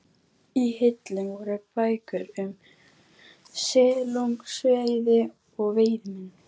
Í hillum voru bækur um silungsveiði og veiðimenn.